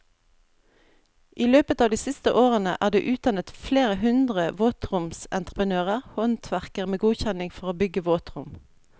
I løpet av de siste årene er det utdannet flere hundre våtromsentreprenører, håndverkere med godkjenning for å bygge våtrom.